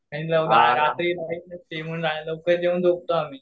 लवकर जेऊन झोपतो आम्ही